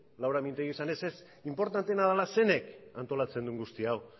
laura mintegik esanez inportanteena dela zeinek antolatzen duen guzti hau